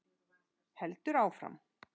Heldur áfram: